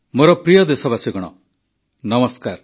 ମୋର ପ୍ରିୟ ଦେଶବାସୀଗଣ ନମସ୍କାର